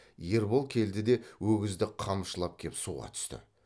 ербол келді де өгізді қамшылап кеп суға түсті